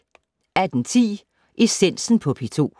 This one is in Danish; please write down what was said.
18:10: Essensen på P2